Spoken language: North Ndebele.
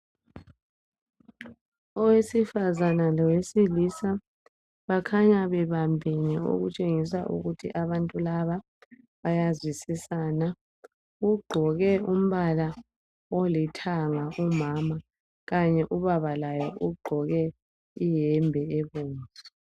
owesifazana lowesilisa bakhanya bebambene okutshengisa ukuthi abantu laba bayazwisisana ugqoke umbala olithanga umama kanye ubaba laye ugqoke iyembe ebomvu